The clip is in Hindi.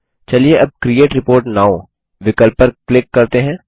चलिए अब क्रिएट रिपोर्ट नोव विकल्प पर क्लिक करते हैं